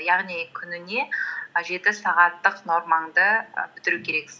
яғни күніне жеті сағаттық нормаңды і бітіру керексің